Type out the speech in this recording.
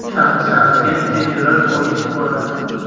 Shahrisabzga tezyurar poyezd boradi.